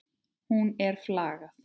Hún er flagð.